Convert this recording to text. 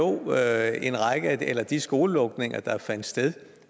er at en række af de skolelukninger der fandt sted